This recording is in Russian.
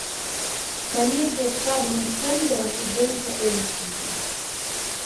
комедия с адамом сэндлером и дженнифер энистон